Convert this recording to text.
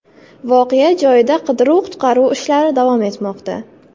Voqea joyida qidiruv-qutqaruv ishlari davom etmoqda.